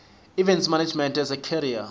events management as a career